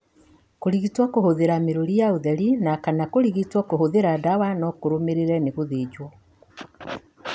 Kũrigitwo kũhũthĩra mĩrũri ya ũtheri na kana kũrigitwo kũhũthĩra ndawa no kũrũmĩrĩre nĩ gũthĩnjwo.